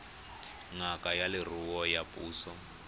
ngaka ya leruo ya puso